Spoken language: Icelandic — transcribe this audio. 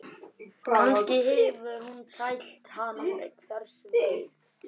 Kannski hefur hún tælt hann, hver veit?